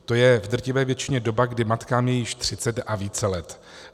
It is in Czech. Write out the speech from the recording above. To je v drtivé většině doba, kdy matkám je již 30 a více let.